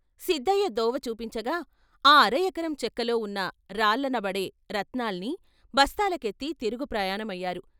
సిద్దయ్య దోవ చూపిం చగా ఆ అర ఎకరం చెక్కలో ఉన్న రాళ్ళనబడే రత్నాల్ని బస్తాల కెత్తి తిరుగు ప్రయాణం అయ్యారు.